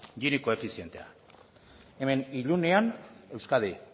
gini koefizientea hemen ilunean euskadi